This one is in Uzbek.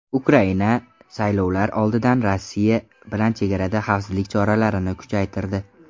Ukraina saylovlar oldidan Rossiya bilan chegarada xavfsizlik choralarini kuchaytirdi.